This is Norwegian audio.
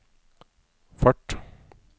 fart